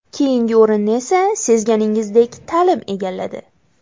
Keyingi o‘rinni esa, sezganingizdek, ta’lim egalladi.